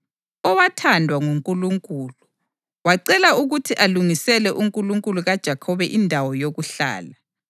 owathandwa nguNkulunkulu, wacela ukuthi alungisele uNkulunkulu kaJakhobe indawo yokuhlala.